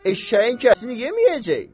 Eşşəyin ətini yeməyəcək!